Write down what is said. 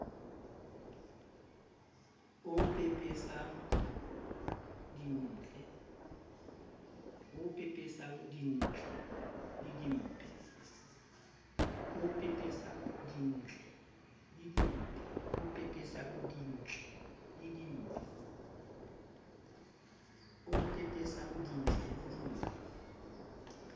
o pepesang dintle le dimpe